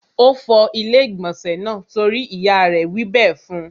Ó fọ ilé-ìgbọ̀nsẹ̀ náà torí ìyá rẹ̀ wí bẹ́ẹ̀ fún.